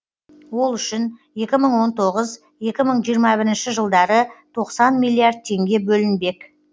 ол үшін екі мың он тоғыз екі мың жиырма бір жылдары тоқсан миллиард теңге бөлінбек